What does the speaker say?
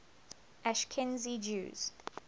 ashkenazi jews